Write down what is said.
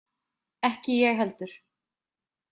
Ekki ég heldur.